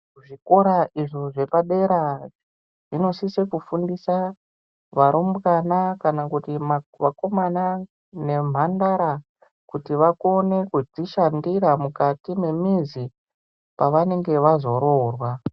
Zvikora izvi zvepadera zvinosisa kufundiswa varumbwana kana kuti Vakomana nemhandara kuti vakone kuzvishandira mukati memizi pavanenge vazoroorwa.